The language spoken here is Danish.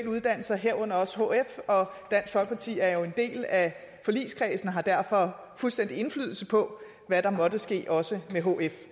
uddannelser herunder også hf og dansk folkeparti er jo en del af forligskredsen og har derfor fuldstændig indflydelse på hvad der måtte ske også med hf